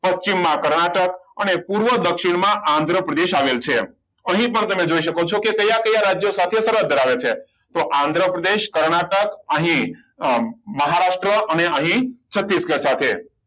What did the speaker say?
પશ્ચિમમાં કર્ણાટક અને પૂર્વ દક્ષિણમાં આંધ્રપ્રદેશ આવેલું છે અહીં પણ તમે જોઈ શકો છો કે કયા કયા રાજ્ય સાથે સરહદ ધરાવે છે તો આંધ્રપ્રદેશ કર્ણાટક અહીં મહારાષ્ટ્ર અને અહીં છત્તીસગઢ સાથે